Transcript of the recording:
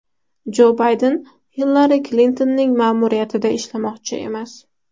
Jo Bayden Hillari Klintonning ma’muriyatida ishlamoqchi emas.